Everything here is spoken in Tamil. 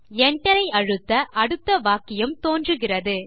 Enter ஐ அழுத்த அடுத்த வாக்கியம் தோன்றுகிறது